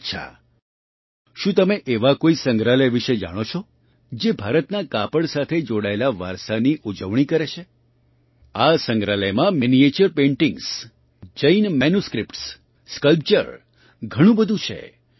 અચ્છા શું તમે એવા કોઈ સંગ્રહાલય વિશે જાણો છો જે ભારતના કાપડ સાથે જોડાયેલા વારસાની ઉજવણી કરે છે આ સંગ્રહાલયમાં miniature paintings Jain manuscripts sculpture ઘણું બધું છે